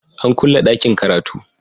An kulle dakin karatu.